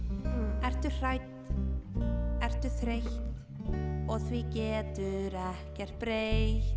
ertu hrædd ertu þreytt og því getur ekkert breytt